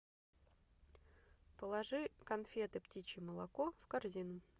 положи конфеты птичье молоко в корзину